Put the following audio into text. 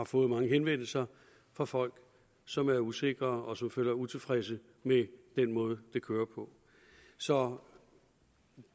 fået mange henvendelser fra folk som er usikre og som som er utilfredse med den måde det kører på så